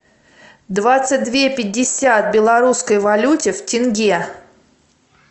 двадцать две пятьдесят в белорусской валюте в тенге